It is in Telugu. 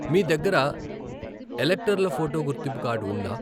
మీ దగ్గర ఎలక్టర్ల ఫోటో గుర్తింపు కార్డు ఉందా?